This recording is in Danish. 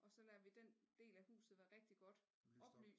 Og så lader vi den del af huset være rigtig godt oplyst